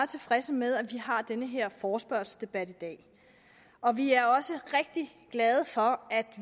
tilfredse med at vi har den her forespørgselsdebat i dag og vi er også rigtig glade for at